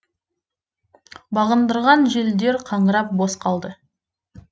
бағындырған желдер қаңырап бос қалды